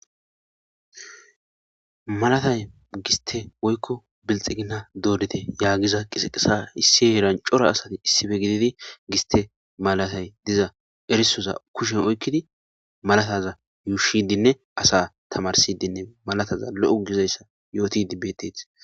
Malatay giste woyko bilixigina dorite yagiza qisiqesa issi heran cora asati issippe gidid giste malatay diza erisoza kushen oykid malataza yuushidinne asa tamarisidnne malataza lo'o gizaysa yotid betetes